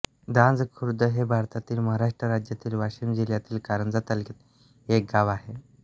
धांज खुर्द हे भारतातील महाराष्ट्र राज्यातील वाशिम जिल्ह्यातील कारंजा तालुक्यातील एक गाव आहे